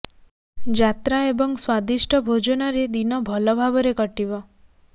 ଯାତ୍ରା ଏବଂ ସ୍ବାଦିଷ୍ଟ ଭୋଜନରେ ଦିନ ଭଲ ଭାବରେ କଟିବ